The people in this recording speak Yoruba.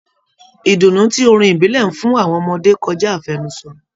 Ìdùnnú tí orin ìbílẹ̀ ń fún àwọn ọmọdé kọjá àfẹnusọ.